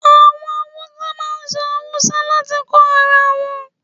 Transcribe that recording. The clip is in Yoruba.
Àwọn Hausa máa ń sọ Haúsá láti kó ara wọn.